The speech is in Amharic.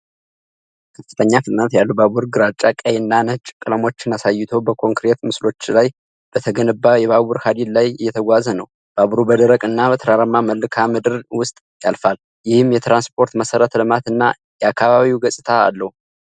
ከፍተኛ ፍጥነት ያለው ባቡር ግራጫ፣ ቀይ እና ነጭ ቀለሞችን አሳይቶ በኮንክሪት ምሰሶዎች ላይ በተገነባ የባቡር ሐዲድ ላይ እየተጓዘ ነው። ባቡሩ በደረቅ እና ተራራማ መልክዓ ምድር ውስጥ ያልፋል፣ ይህም የትራንስፖርት መሠረተ ልማት እና የአካባቢውን ገጽታአለው፡፡